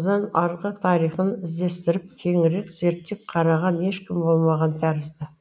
одан арғы тарихын іздестіріп кеңірек зерттеп қараған ешкім болмаған тәрізді